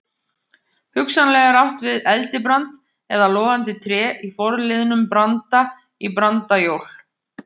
Hugsanlega er átt við eldibrand eða logandi tré í forliðnum branda- í brandajól.